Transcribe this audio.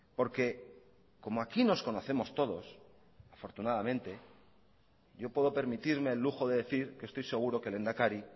porque como aquí nos conocemos todos afortunadamente yo puedo permitirme el lujo de decir que estoy seguro que el lehendakari